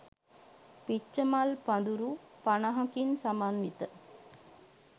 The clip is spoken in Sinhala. පිච්චමල් පඳුරු පනහකින් සමන්විත